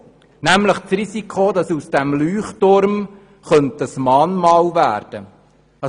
Es besteht das Risiko, das aus dem Leuchtturm ein Mahnmal werden könnte.